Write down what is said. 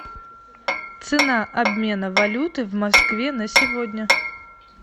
цена обмена валюты в москве на сегодня